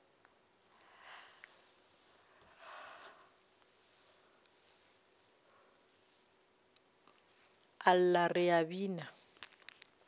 a lla re a bina